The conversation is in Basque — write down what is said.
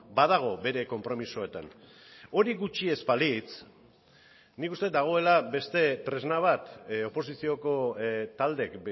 badago bere konpromisoetan hori gutxi ez balitz nik uste dut dagoela beste tresna bat oposizioko taldeek